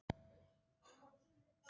Heimir Már Pétursson: Hvar?